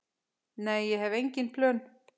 Nei, ég hef engin plön.